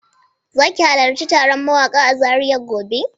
Za ki halarci taron mawaƙa a Zaria gobe?